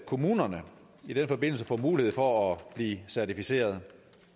kommunerne i den forbindelse får mulighed for at blive certificeret